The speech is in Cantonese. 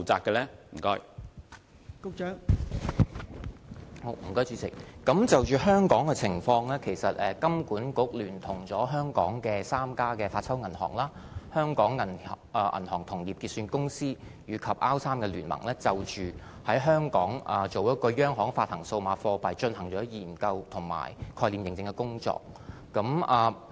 代理主席，就香港的情況，金管局聯同香港的3家發鈔銀行，香港銀行同業結算有限公司，以及 R3 聯盟，就着在香港推行央行發行數碼貨幣已進行研究工作。